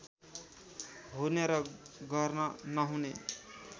हुने र गर्न नहुने